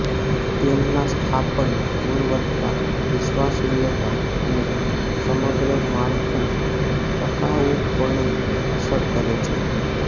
તેમના સ્થાપન ગુણવત્તા વિશ્વસનીયતા અને સમગ્ર માળખું ટકાઉપણું અસર કરે છે